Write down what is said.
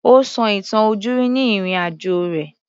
Ó sọ ìtàn ojúrí ni ìrìn-àjò rẹ̀